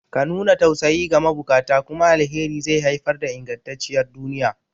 Ka nuna tausayi ga mabukata, kuma alheri zai haifar da ingantacciyar duniya.